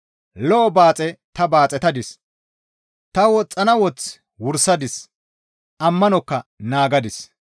Lo7o baaxe ta baaxetadis; ta woxxana woth wursadis; ammanokka naagadis.